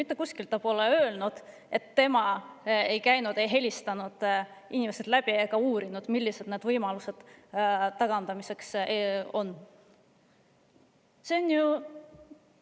Ta pole mitte kuskil öelnud, et tema ei ole helistanud inimesi läbi ega uurinud, millised on võimalused tagandamiseks.